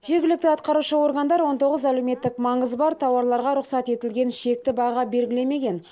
жергілікті атқарушы органдар он тоғыз әлеуметтік маңызы бар тауарларға рұқсат етілген шекті баға белгілемеген